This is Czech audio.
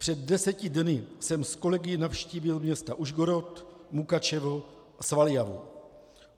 Před deseti dny jsem s kolegy navštívil města Užhorod, Mukačevo a Svaljavu.